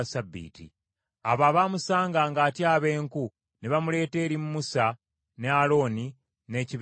Abo abaamusanga ng’atyaba enku ne bamuleeta eri Musa ne Alooni n’ekibiina kyonna,